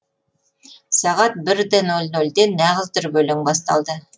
сағат бір да нөл нөлде нағыз дүрбелең басталды